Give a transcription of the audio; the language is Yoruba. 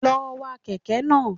Lọ wa kèké náà